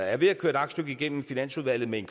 er ved at køre et aktstykke igennem finansudvalget med en